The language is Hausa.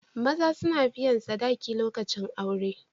Maza suna biyan sadaki lokacin aure.